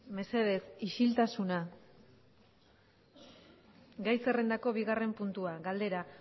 mesedez isiltasuna gai zerrendako bigarren puntua galdera